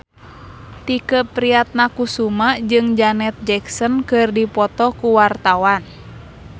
Tike Priatnakusuma jeung Janet Jackson keur dipoto ku wartawan